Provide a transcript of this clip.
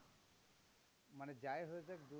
মানে যাই হয়ে যাক